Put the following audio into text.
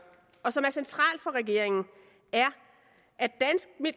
og som er centralt for regeringen er at